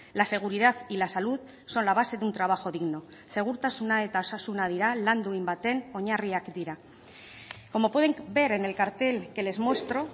la seguridad y la salud son la base de un trabajo digno segurtasuna eta osasuna dira lan duin baten oinarriak dira como pueden ver en el cartel que les muestro